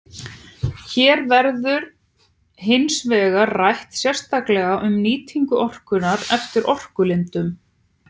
Hér verður hins vegar rætt sérstaklega um nýtingu orkunnar eftir orkulindum.